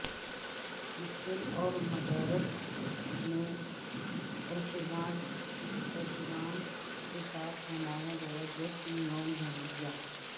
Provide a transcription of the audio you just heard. school اور مدارس میں اہتمام کے ساتھ منایا گیا جشن یوم جمہوریہ